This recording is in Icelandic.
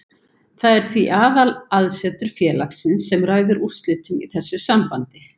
Það er því aðalaðsetur félagsins sem ræður úrslitum í þessu sambandi.